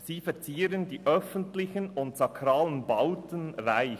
sie verzieren die öffentlichen und sakralen Bauten reich.